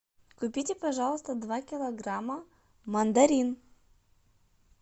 купите пожалуйста два килограмма мандарин